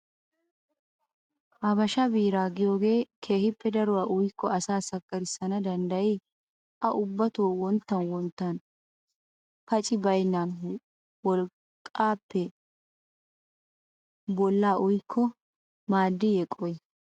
Habashaa biiraa yaagiyoge keehippe daruwaa uyikko asaa sakkarissana danddayii? A ubbato wonttan wonttan paci baynnan wolqqaappe bolla uyikko maaddiiyye qohi?